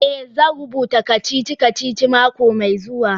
Eh, zan rubuta kacici-kacici mako mai zuwa.